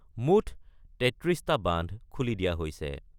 মুখ ৩৩টা বান্ধ খুলি দিয়া হৈছে।